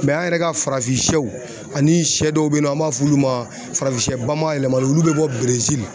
an yɛrɛ ka farafinsɛw ani sɛ dɔw bɛ yen nɔ an b'a f'olu ma farafinsɛ bamayɛlɛmalenw olu bɛ bɔ Berezili.